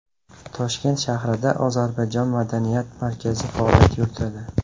Toshkent shahrida ozarbayjon madaniyat markazi faoliyat yuritadi.